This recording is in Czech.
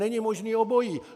Není možné obojí.